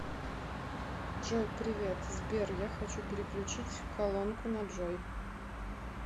джой привет сбер я хочу переключить колонку на джой